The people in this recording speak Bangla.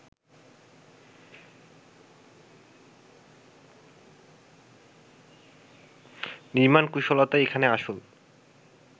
নির্মাণ কুশলতাই এখানে আসল